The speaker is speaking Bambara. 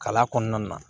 Kala kɔnɔna na